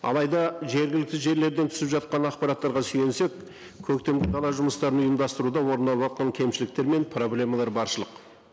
алайда жергілікті жерлерден түсіп жатқан ақпараттарға сүйенсек көктемгі дала жұмыстарын ұйымдастыруда орын алыватқан кемшіліктер мен проблемалар баршылық